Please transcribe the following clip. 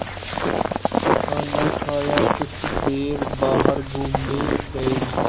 खाना खाया कुछ देर बाहर घूमने गए